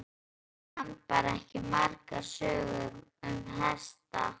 En afi kann ekki bara margar sögur um hesta.